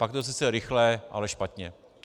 Pak je to sice rychle, ale špatně.